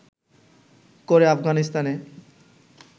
করে আফগানিস্তানে